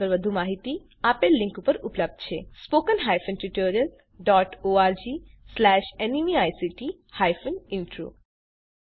આ મિશન પર વધુ માહીતી આપેલ લીંક પર ઉપલબ્ધ છે spoken hyphen tutorial dot org slash NMEICT hyphen intro